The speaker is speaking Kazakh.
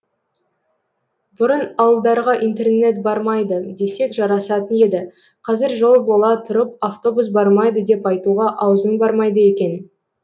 бұрын ауылдарға интернет бармайды десек жарасатын еді қазір жол бола тұрып автобус бармайды деп айтуға аузың бармайды екен